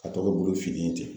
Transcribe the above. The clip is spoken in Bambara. ka tɔ kɛ bolo finnen ye ten.